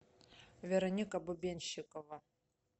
вероника бубенщикова